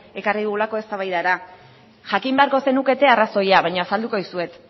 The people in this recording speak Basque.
ekarri dugulako eztabaidara jakin beharko zenukete arrazoia baina azalduko dizuet